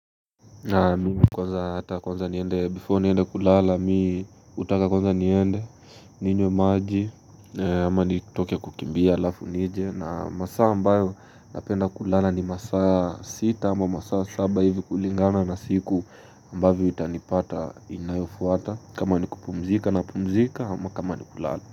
Na mingi kwanza hata kwanza niende before niende kulala mi utaka kwanza niende ninywe maji ama nitoke kukimbia alafu nije na masaa ambayo napenda kulala ni masaa sita ama masaa saba hivi kulingana na siku ambavyo itanipata inayofuata kama ni kupumzika na pumzika ama kama ni kulala.